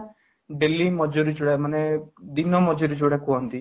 daily ମଜୁରୀ ମାନେ ଦିନ ମଜୁରୀ ଯୋଉ ଗୁଡାକୁ କୁହନ୍ତି